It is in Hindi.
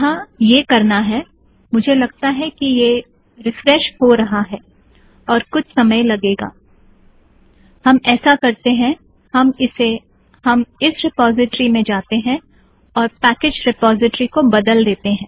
यहाँ यह करना है - मुझे लगता है कि यह रिफ्रेश हो रहा है और कुछ समय लगेगा - हम ऐसा करते हैं - हम इस रिपोज़िट्रि में जातें हैं और पैकेज़ रिपोज़िट्रि को बदलते हैं